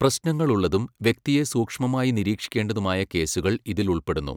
പ്രശ്നങ്ങളുള്ളതും, വ്യക്തിയെ സൂക്ഷ്മമായി നിരീക്ഷിക്കേണ്ടതുമായ കേസുകൾ ഇതിൽ ഉൾപ്പെടുന്നു.